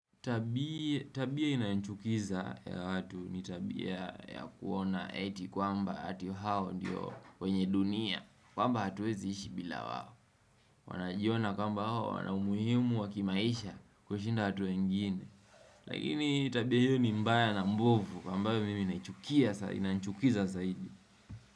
Tabia inayochukiza ya watu ni tabia ya kuona eti kwamba ati hao ndiyo wenye dunia kwamba hatuwezi ishi bila wao. Wanajiona kwamba hao wana umuhimu wa kimaisha kushinda watu wengine Lakini tabia hio ni mbaya na mbovu ambayo inanichukiza zaidi.